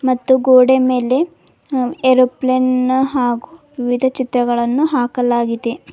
ಮತ್ತು ಗೋಡೆ ಮೇಲೆ ಅ ಏರೋಪ್ಲೇನ್ ನ ಹಾಗೂ ವಿವಿಧ ಚಿತ್ರಗಳನ್ನು ಹಾಕಲಾಗಿದೆ.